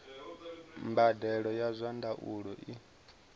mbadelo ya zwa ndaulo i